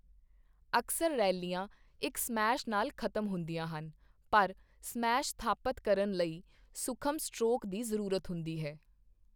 ਅਕਸਰ ਰੈਲੀਆਂ ਇੱਕ ਸਮੈਸ਼ ਨਾਲ ਖਤਮ ਹੁੰਦੀਆਂ ਹਨ, ਪਰ ਸਮੈਸ਼ ਸਥਾਪਤ ਕਰਨ ਲਈ ਸੂਖਮ ਸਟਰੋਕ ਦੀ ਜ਼ਰੂਰਤ ਹੁੰਦੀ ਹੈ।